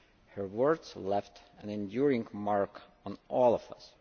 Her words left an enduring mark on all of us.